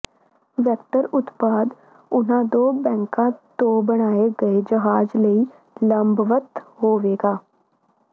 vector ਉਤਪਾਦ ਉਹਨਾਂ ਦੋ ਵੈਕਾਂ ਤੋਂ ਬਣਾਏ ਗਏ ਜਹਾਜ਼ ਲਈ ਲੰਬਵਤ ਹੋਵੇਗਾ